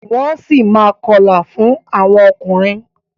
Wọ́n si máa ma kọlà fún àwọn ọkùnrin.